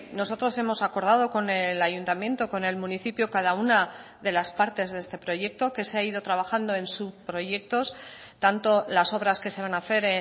nosotros hemos acordado con el ayuntamiento con el municipio cada una de las partes de este proyecto que se ha ido trabajando en subproyectos tanto las obras que se van a hacer